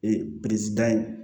Ee pirizi da yen